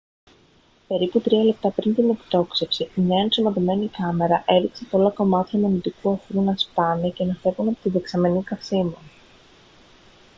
περίπου τρία λεπτά πριν την εκτόξευση μια ενσωματωμένη κάμερα έδειξε πολλά κομμάτια μονωτικού αφρού να σπάνε και να φεύγουν από τη δεξαμενή καυσίμων